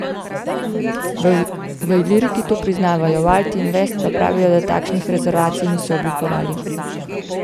V Iliriki to priznavajo, v Alti Invest pa pravijo, da takšnih rezervacij niso oblikovali.